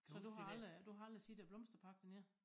Så du har aldrig du har aldrig set æ blomsterpark dernede?